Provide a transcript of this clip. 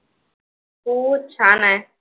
हो छान आहे.